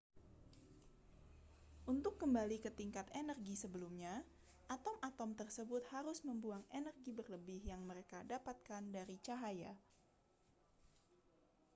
untuk kembali ke tingkat energi sebelumnya atom-atom tersebut harus membuang energi berlebih yang mereka dapatkan dari cahaya